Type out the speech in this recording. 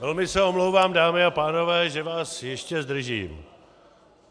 Velmi se omlouvám dámy a pánové, že vás ještě zdržím.